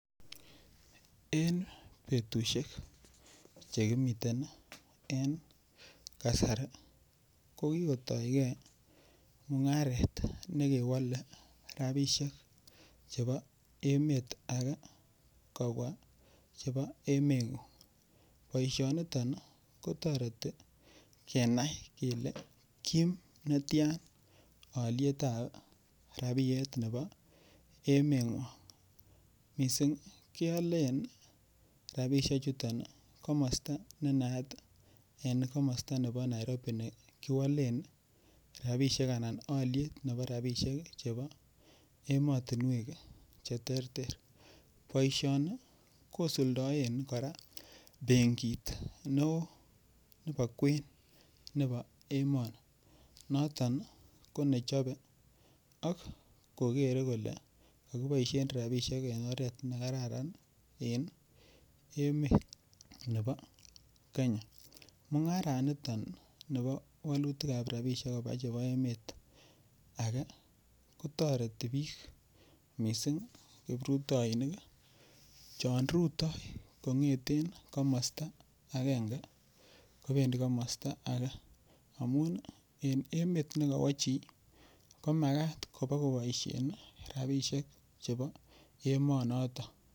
En betushek chekimiten en kasari ko kikotoige mung'aret nekewole rabishek chebo emet age kobwa chebo emeng'ung boishoniton kotoreti kenai kele kiim netya olietab rabiyet nebo emeng'wong' mising' keolen rabishe chuto komosta nenayat en komosta nebo Nairobi ne kiwalen rabishek ana oliet nebo rabishek chebo emotinwek cheterter boishoni kosuldoen kora benkit neo nebo kwen nebo emoni noton konechobe ak kokere kole kakiboishen rabishek en oret nekararan en emet nebo Kenya mung'araniton nebo walutikab robishek koba chebo emet age kotoreti biik mising' kiprutoinik chon rutoi kong'eten komosta agenge kobendi komosta ake amun en emet nekawo chi komakat kobikoboishen rabishek chebo emo noto